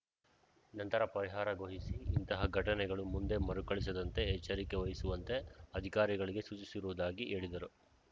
ನಂತರ ಪರಿಹಾರ ಘೋಷಿಸಿ ಇಂತಹ ಘಟನೆಗಳು ಮುಂದೆ ಮರುಕಳಿಸದಂತೆ ಎಚ್ಚರಿಕೆ ವಹಿಸುವಂತೆ ಅಧಿಕಾರಿಗಳಿಗೆ ಸೂಚಿಸಿರುವುದಾಗಿ ಹೇಳಿದರು